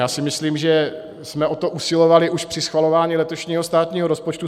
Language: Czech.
Já si myslím, že jsme o to usilovali už při schvalování letošního státního rozpočtu.